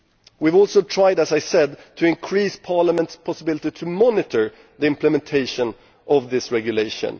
We have also tried, as I said, to increase Parliament's ability to monitor the implementation of this regulation.